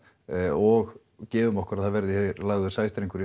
og gefum okkur að það verði hér lagður sæstrengur í